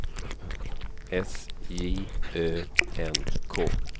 S J Ö N K